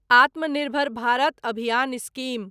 आत्मा निर्भर भारत अभियान स्कीम